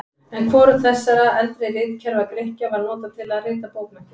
En hvorugt þessara eldri ritkerfa Grikkja var notað til að rita bókmenntir.